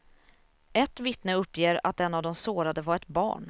Ett vittne uppger att en av de sårade var ett barn.